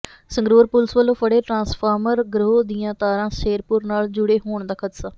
Sangrur police ਵੱਲੋਂ ਫੜ੍ਹੇ transformer ਗਰੋਹ ਦੀਆਂ ਤਾਰਾਂ ਸ਼ੇਰਪੁਰ ਨਾਲ ਜੁੜੇ ਹੋਣ ਦਾ ਖਦਸ਼ਾ